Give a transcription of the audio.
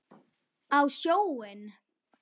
Á sjóinn?